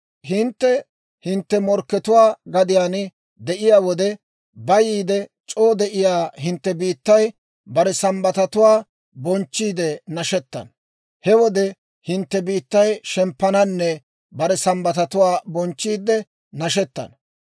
He hintte hintte morkkatuwaa gadiyaan de'iyaa wode, bayiide c'oo de'iyaa hintte biittay bare Sambbatatuwaa bonchchiidde nashettana. He wode hintte biittay shemppananne bare Sambbatatuwaa bonchchiidde nashettana.